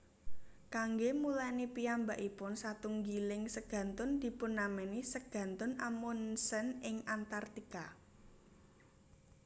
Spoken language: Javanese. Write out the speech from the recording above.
Kanggé mulèni piyambakipun satunggiling segantun dipunnamèni Segantun Amundsen ing Antarktika